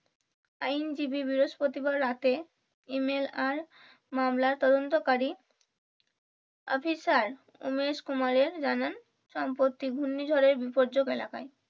আইনজীবী বৃহষ্পতিবার রাতে email আর মামলা তদন্তকারী অফিসার উমেশ কুমারের জানান সম্পত্তি ঘূর্ণিঝড়ের বিপর্যক এলাকায়,